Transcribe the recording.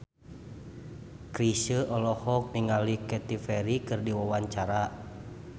Chrisye olohok ningali Katy Perry keur diwawancara